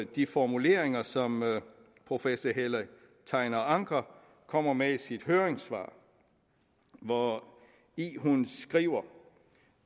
de formuleringer som professor helle tegner anker kommer med i sit høringssvar hvori hun skriver